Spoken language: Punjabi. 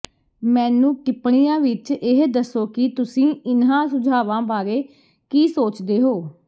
ਮੈਨੂੰ ਟਿਪਣੀਆਂ ਵਿਚ ਇਹ ਦੱਸੋ ਕਿ ਤੁਸੀਂ ਇਨ੍ਹਾਂ ਸੁਝਾਵਾਂ ਬਾਰੇ ਕੀ ਸੋਚਦੇ ਹੋ